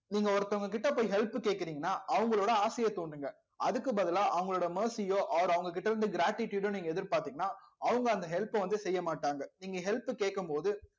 நீங்க ஒருத்தவங்ககிட்ட போய் help கேக்குறீங்கன்னா அவங்களோட ஆசையை தூண்டுங்க அதுக்கு பதிலா அவங்களோட mercy யோ or அவங்க கிட்ட இருந்து gratitude ஓ நீங்க எதிர் பார்த்தீங்கன்னா அவங்க அந்த help அ வந்து செய்ய மாட்டாங்க நீங்க help கேக்கும் போது